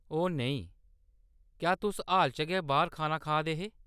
ओह् नेईं, क्या तुस हाल च गै बाह्‌‌र खाना खा दे हे ?